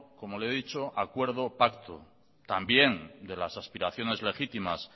como le he dicho acuerdo pacto también de las aspiraciones legítimas